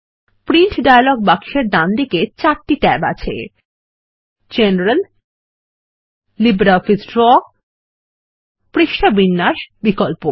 print dialog বাক্সের ডানদিকে চারটি ট্যাব আছে জেনারেল লিব্রিঅফিস ড্র পৃষ্ঠা বিন্যাস বিকল্প